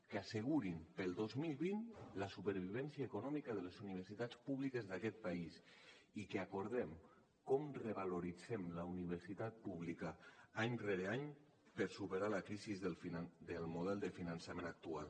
que assegurin per al dos mil vint la supervivència econòmica de les universitats públiques d’aquest país i que acordem com revaloritzem la universitat pública any rere any per superar la crisi del model de finançament actual